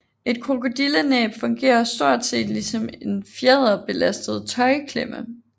Et krokodillenæb fungerer stort set ligesom en fjederbelastet tøjklemme